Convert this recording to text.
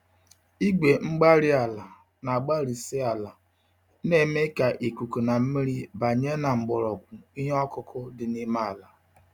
Igwe-mgbárí-ala, na agbarisi ala, na-eme ka ikuku na mmiri banye na mgbọrọgwụ ihe ọkụkụ dị n'ime àlà.